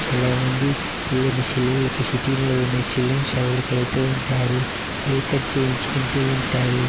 చాలా మంది ఇలాంటి సెలూన్ లకి సిటీ లో ఉండే సెలూన్ షాపు లకి వెళ్తూ ఉంటారు. హెయిర్ కట్ చేయించుకుంటూ ఉంటారు.